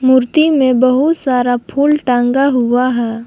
मूर्ति में बहुत सारा फूल टांगा हुआ है।